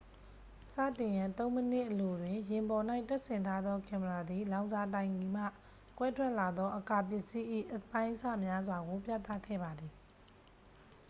စတင်ရန် 3 မိနစ်အလိုတွင် ယာဉ်ပေါ်၌တပ်ဆင်ထားသောကင်မရာသည် လောင်စာတိုင်ကီမှ ကွဲထွက်လာသော အကာပစ္စည်း၏ အပိုင်းအစများစွာကို ပြသခဲ့ပါသည်